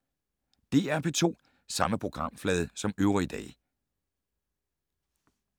DR P2